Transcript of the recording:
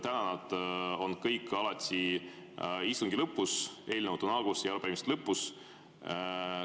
Praegu on need kõik alati istungi lõpus, eelnõud on alguses ja arupärimised lõpus.